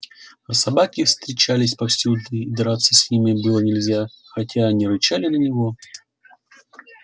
а собаки встречались повсюду и драться с ними было нельзя хоть они рычали на него